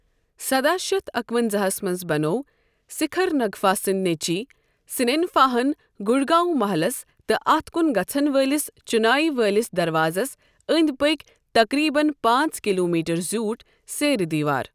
سداہ شتھ اَکہٕ ونزاہَس مَنٛز بنوو سکھرنگفا سٕنٛدۍ نیچی سنینفاہَن گڑھ گاؤں محلس تہٕ اتھ کُن گژھن وٲلِس چٗنایہِ والِس دروازس أنٛدۍ پٔکۍ تقریباً پانٛژ کلومیٹر زیوُٹھ سیرِ دیوار ۔